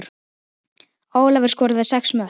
Ólafur skoraði sex mörk.